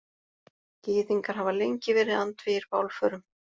Gyðingar hafa lengi verið andvígir bálförum.